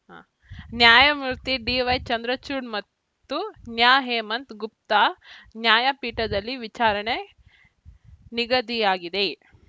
ನ್ಯಾಯಮೂರ್ತಿ ಡಿವೈ ಚಂದ್ರಚೂಡ್‌ ಮತ್ತು ನ್ಯಾಹೇಮಂತ್‌ ಗುಪ್ತಾ ನ್ಯಾಯಪೀಠದಲ್ಲಿ ವಿಚಾರಣೆ ನಿಗದಿಯಾಗಿದೆ